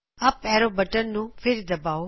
up arrow button ਨੂੰ ਫਿਰ ਦਬਾਓ